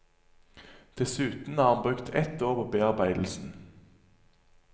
Dessuten har han brukt et år på bearbeidelsen.